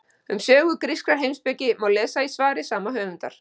um sögu grískrar heimspeki má lesa í svari sama höfundar